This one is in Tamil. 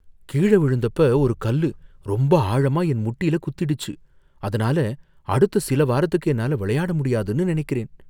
கீழ விழுந்தப்ப ஒரு கல்லு ரொம்ப ஆழமா என் முட்டில குத்திடுச்சு. அதுனால அடுத்த சில வாரத்துக்கு என்னால விளையாட முடியாதுன்னு நனைக்கிறேன்.